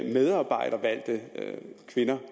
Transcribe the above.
det er